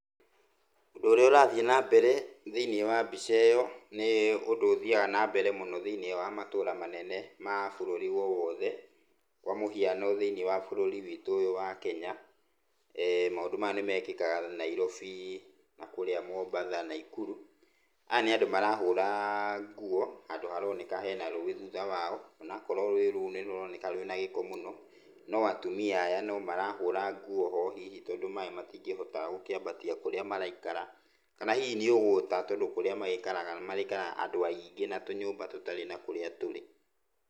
Ũndũ ũrĩa ũrathiĩ na mbere thĩiniĩ wa mbica ĩyo nĩ ũndũ ũthiaga nambere mũno thĩiniĩ wa matũra manene ma bũrũri o wothe kwa mũhiano thĩiniĩ wa bũrũri witũ ũyũ wa Kenya, maũndũ maya nĩ mekĩkaga Nairobi na kũrĩa Mombasa, Nakuru. Aya nĩ andũ marahũra nguo handũ haroneka hena rũĩ thutha wao, onakorwo rũĩ rũu nĩ rũroneka rwĩna gĩko mũno, no atumia aya no marahũra nguo ho hihi tondũ maĩ matingĩhota gũkĩambatia kũrĩa maraikara kana hihi nĩ ũgũta tondũ kũrĩa magĩikaraga nĩmagĩikaraga andũ aingĩ na tũnyũmba tũtarĩ na kũrĩa tũrĩ.